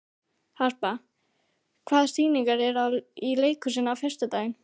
Harpa, hvaða sýningar eru í leikhúsinu á föstudaginn?